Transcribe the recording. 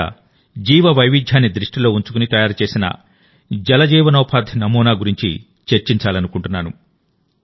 ఇక్కడ జీవవైవిధ్యాన్ని దృష్టిలో ఉంచుకుని తయారు చేసిన జల జీవనోపాధి నమూనా గురించి చర్చించాలనుకుంటున్నాను